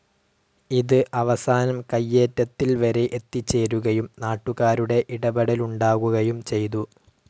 ഇത് അവസാനം കയ്യേറ്റത്തിൽവരെ എത്തിച്ചേരുകയും നാട്ടുകാരുടെ ഇടപെടലുണ്ടാകുകയും ചെയ്തു.